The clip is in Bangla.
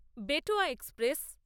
বেটোয়া এক্সপ্রেস